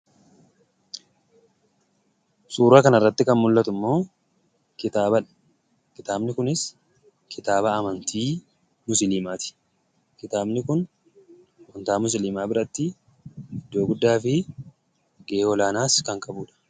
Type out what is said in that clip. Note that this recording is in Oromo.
Suuraa kanarratti kan mul'atu immoo kitaaba dha. Kitaabni kunis kitaaba amantii Musilimaa ti. Kitaabni kun amantaa Musilimaa biratti iddoo guddaa fi gahee olaanaas kan qabuudha.